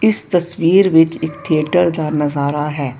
ਇਸ ਤਸਵੀਰ ਵਿੱਚ ਇੱਕ ਥਿਏਟਰ ਦਾ ਨਜ਼ਾਰਾ ਹੈ।